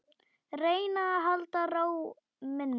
Reyna að halda ró minni.